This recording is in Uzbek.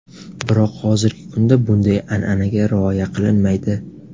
Biroq hozirgi kunda bunday an’anaga rioya qilinmaydi.